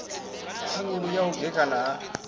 khulu ya u gekhana ha